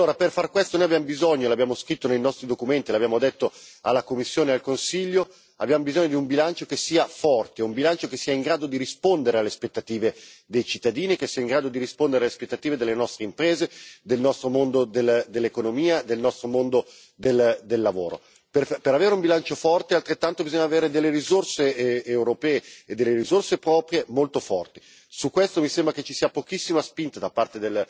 Per far questo noi abbiamo bisogno l'abbiamo scritto nei nostri documenti, l'abbiamo detto alla Commissione e al Consiglio di un bilancio che sia forte, di un bilancio che sia in grado di rispondere alle aspettative dei cittadini, che sia in grado di rispondere alle aspettative delle nostre imprese, del nostro mondo dell'economia, del nostro mondo del lavoro. Per avere un bilancio forte, bisogna avere delle risorse europee, delle risorse proprie molto forti su questo mi sembra che ci sia pochissima spinta da parte